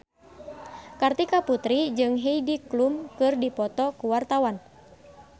Kartika Putri jeung Heidi Klum keur dipoto ku wartawan